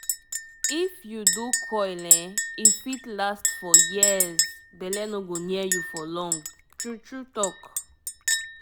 um hormonal coil matter you fit pull am anytime - to block belle wey no get stress